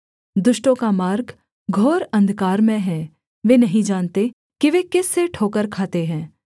दुष्टों का मार्ग घोर अंधकारमय है वे नहीं जानते कि वे किस से ठोकर खाते हैं